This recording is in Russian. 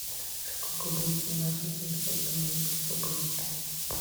сколько будет на наши семьсот белорусских рублей